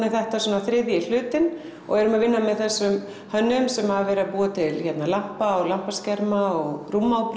er þetta svona þriðji hlutinn og erum að vinna með þessum hönnuðum sem hafa verið að búa til lampa og lampaskerma og